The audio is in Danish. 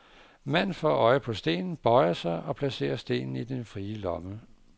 Manden får øje på stenen, bøjer sig, og placerer stenen i den frie lomme.